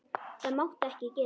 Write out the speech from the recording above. Það mátti ekki gerast.